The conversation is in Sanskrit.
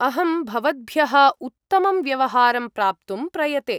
अहं भवद्भ्यः उत्तमं व्यवहारं प्राप्तुं प्रयते।